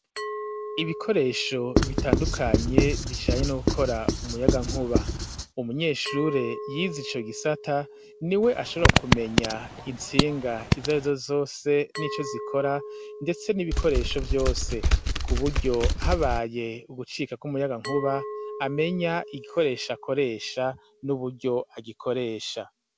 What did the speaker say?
Ibikoresho bitandukanye bijanye no gukora umuyagankuba umunyeshure yize ico gisata niwe ashobora kumenya intsinga izarizo zose nico zikora ndetse n'ibikoresho vyose ku buryo habaye ugucika ku muyagankuba amenya igikoresho akoresha n'uburyo agikoresha.